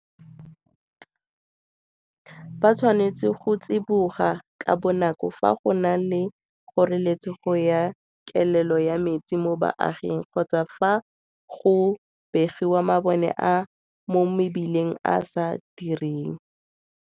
Ba tshwanetse go tsiboga ka bonako fa go na le kgoreletsego ya kelelo ya metsi mo baaging kgotsa fa go begiwa mabone a mo mebileng a a sa direng.